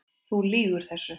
Þú lýgur þessu!